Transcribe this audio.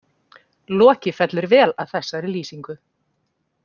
Loki fellur vel að þessari lýsingu.